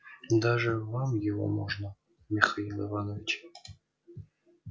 даже вам его можно михаил иванович